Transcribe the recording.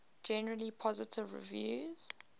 generally positive reviews